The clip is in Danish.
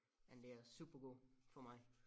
Men det er supergod for mig